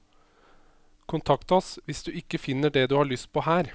Kontakt oss hvis du ikke finner det du har lyst på her.